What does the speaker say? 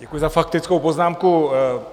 Děkuju za faktickou poznámku.